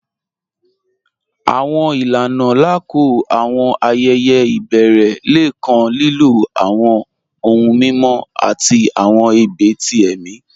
Àwọn ilànà lákọọ̀ àwọn ayẹyẹ̀ ibẹ̀rẹ̀ lẹ̀ kàn lílọ̀ àwọn ọ̀hùn mímọ̀ àti àwọn ẹ̀bẹ̀ tí ẹ̀mi.